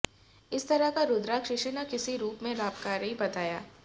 हर तरह का रुद्राक्ष किसी न किसी रूप में लाभकारी बताया